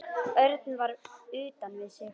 Örn var utan við sig.